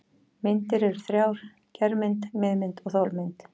Myndir eru þrjár: germynd, miðmynd og þolmynd.